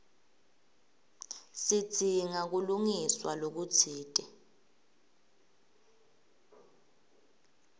sidzinga kulungiswa lokutsite